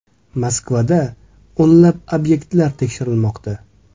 Moskvada o‘nlab obyektlar tekshirilmoqda.